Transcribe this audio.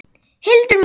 Hildur mín!